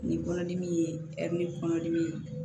Ni kɔnɔdimi ye kɔnɔdimi ye